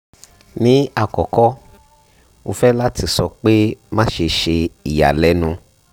ni akọkọ mo fẹ lati sọ pe maṣe ṣe iyalẹnu